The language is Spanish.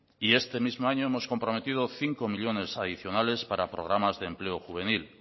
y este mismo año hemos comprometido cinco millónes adicionales para programas de empleo juvenil